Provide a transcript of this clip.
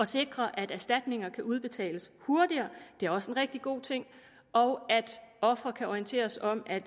sikre at erstatninger kan udbetales hurtigere det er også en rigtig god ting og offeret kan orienteres om at